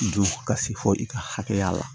Du ka se fo i ka hakɛya la